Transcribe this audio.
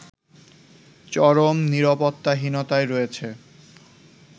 চরম নিরাপত্তাহীনতায় রয়েছে